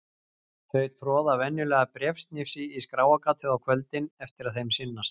Þau troða venjulega bréfsnifsi í skráargatið á kvöldin eftir að þeim sinnast.